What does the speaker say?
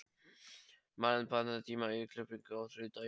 Malen, pantaðu tíma í klippingu á þriðjudaginn.